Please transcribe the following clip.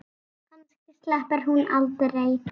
Kannski sleppur hún aldrei.